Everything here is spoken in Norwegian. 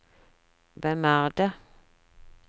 hvem er det